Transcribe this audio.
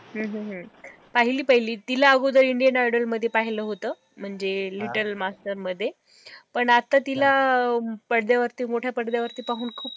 हम्म हम्म पाहिली पाहिली तीला अगोदर indian idol मध्ये पाहिलं होतं, म्हणजे little master मध्ये पण आता तीला अं पडद्यावरती मोठ्या पडद्यावरती पाहून खूप